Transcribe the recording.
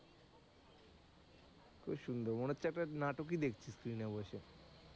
খুব সুন্দর মনে হচ্ছে একটা নাটক ই দেখছি screen এ বসে।